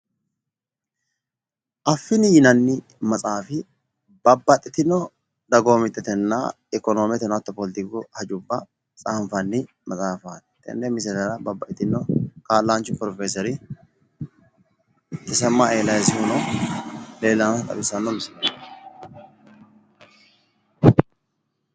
Affini yinanni maxaafi babbaxxitino dagoomittetenna ikkonoome hattono poletiku hajubba tsaanfanni maxaafaati tenne misilera babbaxxitino kaa'lanchu pirofeesere tesemma eliiyasihu leellannota xawissanno misileeti